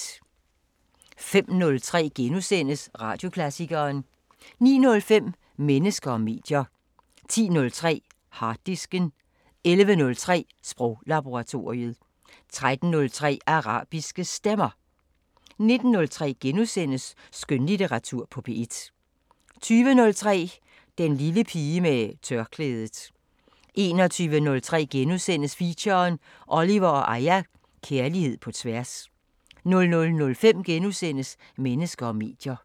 05:03: Radioklassikeren * 09:05: Mennesker og medier 10:03: Harddisken 11:03: Sproglaboratoriet 13:03: Arabiske Stemmer 19:03: Skønlitteratur på P1 * 20:03: Den lille pige med tørklædet 21:03: Feature: Oliver & Aya – Kærlighed på tværs * 00:05: Mennesker og medier *